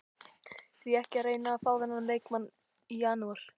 Því ekki að reyna að fá þennan leikmann í janúar?